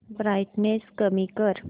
brightness कमी कर